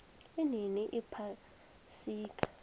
inini iphasika